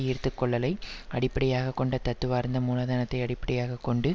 ஈர்த்துக்கொள்ளலை அடிப்படையாக கொண்ட தத்துவார்த்த மூலதனத்தை அடிப்படையாக கொண்டு